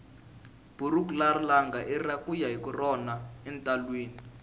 buruku ra langa ira kuya hi rona entalwini